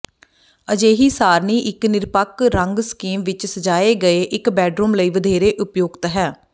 ਅਜਿਹੀ ਸਾਰਨੀ ਇੱਕ ਨਿਰਪੱਖ ਰੰਗ ਸਕੀਮ ਵਿੱਚ ਸਜਾਏ ਗਏ ਇਕ ਬੈਡਰੂਮ ਲਈ ਵਧੇਰੇ ਉਪਯੁਕਤ ਹੈ